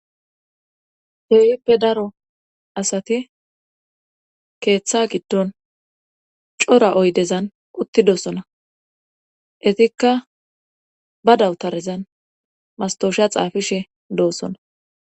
Teyippe daro asati keeththa giddon cora oydezan uttidosona etikka ba dawutarezan mastosha xaafishe doossona